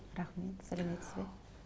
рахмет сәлеметсіз бе